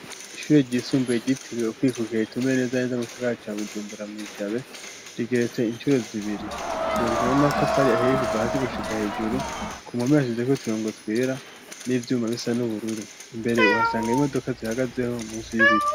Ishure ryisumbuye giti riwo kwikukira itume neza neza m sakara cya bujumbura mu ijabe rigeretse inshuro zibiri yaryo natafari aheye kuva hazi gushika hejuru ku mhome yavize ko tirongo twira n'ivyuma bisa n'ubururu imbere uhasanga imodoka zihagazeho munsi y'ibiti.